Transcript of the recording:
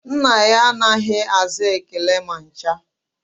Nna ya anaghị aza ekele ma ncha